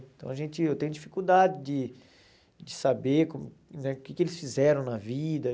Então a gente eu tenho dificuldade de de saber como né o que que eles fizeram na vida.